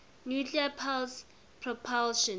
nuclear pulse propulsion